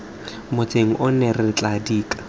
motseng ono re tla dika